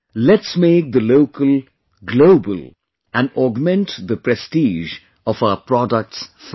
Let's make the local 'global' and augment the prestige of our products further